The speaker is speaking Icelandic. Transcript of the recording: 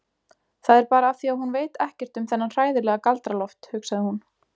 Það er bara af því að hún veit ekkert um þennan hræðilega Galdra-Loft, hugsaði hún.